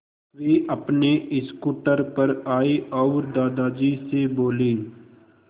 वे अपने स्कूटर पर आए और दादाजी से बोले